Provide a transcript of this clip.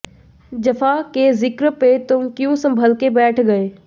जफ़ा के ज़िक्र पे तुम क्यूँ सँभल के बैठ गए